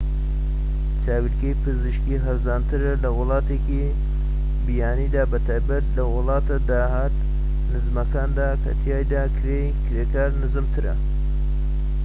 چاویلەکی پزیشکی هەرزانترە لە ولاتێکی بیانیدا بە تایبەتی لە وڵاتە داهات نزمەکاندا کە تیایدا کرێی کرێکار نزمترە